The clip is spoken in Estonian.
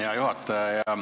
Hea juhataja!